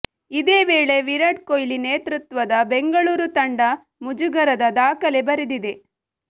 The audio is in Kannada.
ಇದೇ ವೇಳೆ ವಿರಾಟ್ ಕೊಹ್ಲಿ ನೇತೃತ್ವದ ಬೆಂಗಳೂರು ತಂಡ ಮುಜುಗರದ ದಾಖಲೆ ಬರೆದಿದೆ